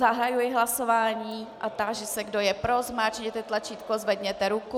Zahajuji hlasování a táži se, kdo je pro, zmáčkněte tlačítko, zvedněte ruku.